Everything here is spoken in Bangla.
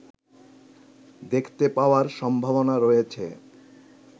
দেখতে পাওয়ার সম্ভাবনা রয়েছে